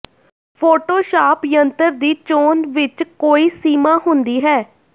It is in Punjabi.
ਫੋਟੋਸ਼ਾਪ ਯੰਤਰ ਦੀ ਚੋਣ ਵਿਚ ਕੋਈ ਸੀਮਾ ਹੁੰਦੀ ਹੈ